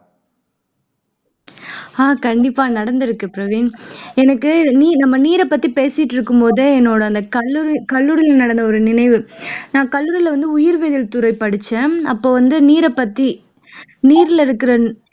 அஹ் கண்டிப்பா நடந்துருக்கு பிரவீன் எனக்கு நம்ம நீரைப்பத்தி பேசிட்டு இருக்கும்போதே என்னோட கல்லூரி கல்லூரில நடந்த ஒரு நினைவு நான் கல்லூரில வந்து உயிர் வேதியியல் துறை படிச்சேன் அப்போ வந்து நீரை பத்தி நீர்ல இருக்கிற